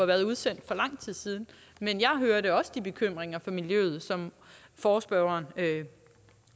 været udsendt for lang tid siden men jeg hørte også de bekymringer fra miljøet som forespørgerne